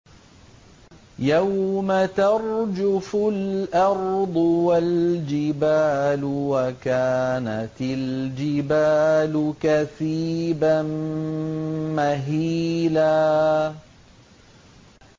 يَوْمَ تَرْجُفُ الْأَرْضُ وَالْجِبَالُ وَكَانَتِ الْجِبَالُ كَثِيبًا مَّهِيلًا